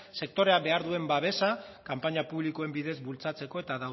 sektorea behar duen babesa kanpaina publikoen bidez bultzatzeko eta